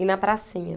E na pracinha.